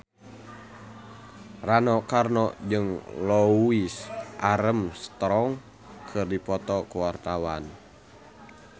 Rano Karno jeung Louis Armstrong keur dipoto ku wartawan